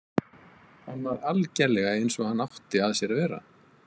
Hann var algerlega eins og hann átti að sér að vera.